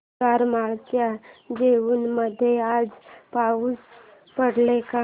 करमाळ्याच्या जेऊर मध्ये आज पाऊस पडेल का